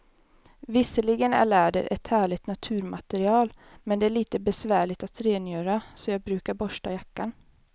Visserligen är läder ett härligt naturmaterial, men det är lite besvärligt att rengöra, så jag brukar borsta jackan.